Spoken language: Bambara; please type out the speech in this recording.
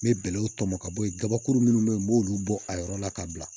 Me bɛlɛw tɔmɔ ka bɔ yen gabakuru munnu be yen n b'olu bɔ a yɔrɔ la ka bila